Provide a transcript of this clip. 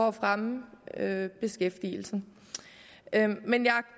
at fremme beskæftigelsen men jeg